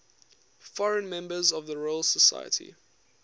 foreign members of the royal society